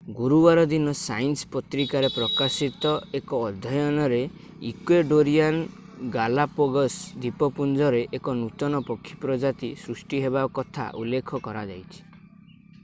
ଗୁରୁବାର ଦିନ ସାଇନ୍ସ ପତ୍ରିକାରେ ପ୍ରକାଶିତ ଏକ ଅଧ୍ୟୟନରେ ଇକ୍ୱେଡୋରିଆନ୍ ଗାଲାପାଗୋସ ଦ୍ୱୀପପୁଞ୍ଜରେ ଏକ ନୂତନ ପକ୍ଷୀ ପ୍ରଜାତି ସୃଷ୍ଟି ହେବା କଥା ଉଲ୍ଲେଖ କରାଯାଇଛି